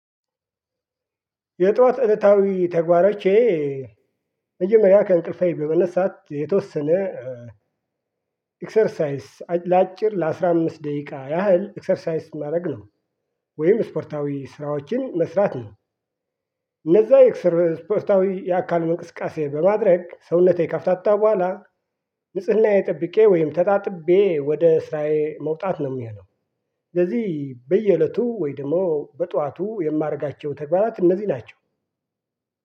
የጥዋት እለታዊ ተግባሮቼ መጀመሪያ ከእንቅልፌ በመነሳት የተወሰነ ኤክሰርሳይስ ለአጭር ለአሥራ አምስት ደቂቃ ያህል ኤክሰርሳይስ ማድረግ ነው ወይም ስፖርታዊ ስራዎችን መስራት ነው። እነዛ የእስፖርታዊ የአካል እንቅስቃሴ በማድረግ ሰውነቴ ካፍታታ በኋላ ንጽህናዬ ጠብቄ ወይም ተጣጥቤ ወደ ስራዬ መውጣት ነው የሚሆነው። ለዚህ በየእለቱ ወይ ደግሞ በጧቱ የማደርጋቸው ተግባራት እነዚህ ናቸው።